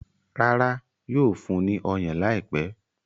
Rárá, yóò fún ní ọyàn láìpẹ́.